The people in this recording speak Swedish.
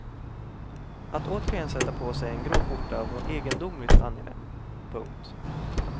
Att återigen sätta på sig en grå skjorta var egendomligt angenämt. punkt